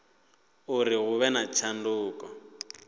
uri hu vhe na tshanduko